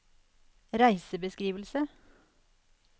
reisebeskrivelse